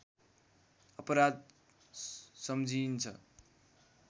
अपराध सम्झिइन्छ